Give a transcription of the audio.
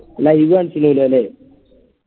live കാണിച്ചിലാലോ അല്ലേ